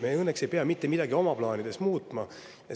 Me õnneks ei pea oma plaanides mitte midagi muutma.